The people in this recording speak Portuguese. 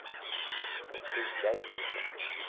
Então eu fiquei dez anos lá nesse clube.